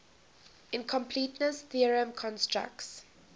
incompleteness theorem constructs